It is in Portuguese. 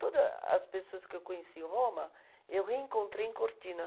Toda as pessoas que eu conheci em Roma, eu reencontrei em Cortina.